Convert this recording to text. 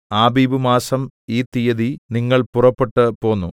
ആബീബ് മാസം ഈ തീയതി നിങ്ങൾ പുറപ്പെട്ട് പോന്നു